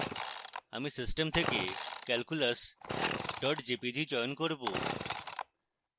আমি system থেকে calculus jpg চয়ন করব